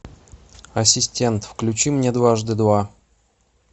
ассистент включи мне дважды два